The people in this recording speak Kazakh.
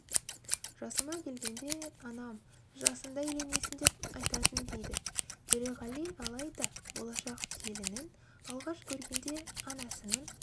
жасыма келгенде анам жасыңда үйленесің деп айтатын дейді төреғали алайда болашақ келінін алғаш көргенде анасының